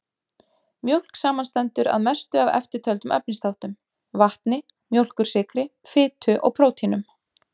Mjólk samanstendur að mestu af eftirtöldum efnisþáttum: vatni, mjólkursykri, fitu og prótínum.